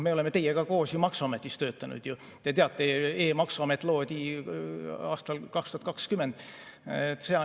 Me oleme teiega koos ju maksuametis töötanud, te teate, et e‑maksuamet loodi aastal 2020.